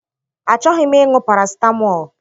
Achọghị m ịṅụ parasitamọl